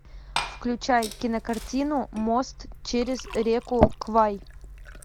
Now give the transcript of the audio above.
включай кинокартину мост через реку квай